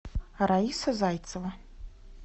раиса зайцева